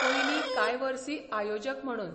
पयलीं कांय वर्सी आयोजक म्हणून.